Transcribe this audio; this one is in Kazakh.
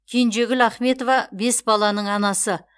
кенжегүл ахметова бес баланың анасы